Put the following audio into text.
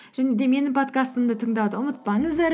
және де менің подкастымды тыңдауды ұмытпаңыздар